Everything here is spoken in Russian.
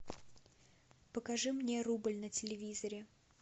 покажи мне рубль на телевизоре